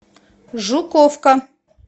жуковка